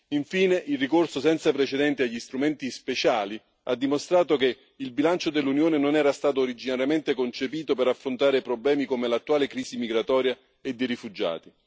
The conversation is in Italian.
Infine, il ricorso senza precedenti agli strumenti speciali ha dimostrato che il bilancio dell'Unione non era stato originariamente concepito per affrontare problemi come l'attuale crisi migratoria e dei rifugiati.